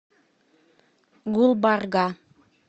гулбарга